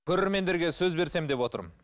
көрермендерге сөз берсем деп отырмын